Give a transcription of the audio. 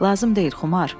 Lazım deyil, Xumar.